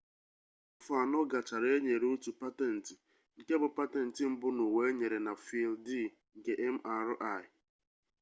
afọ anọ gachara e nyere otu patentị nke bụ patentị mbụ n'ụwa enyere na fịịldị nke mri